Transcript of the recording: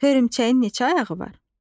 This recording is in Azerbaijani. Hörümçəyin neçə ayağı var?